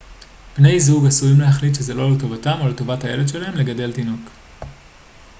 בני זוג עשויים להחליט שזה לא לטובתם או לטובת הילד שלהם לגדל תינוק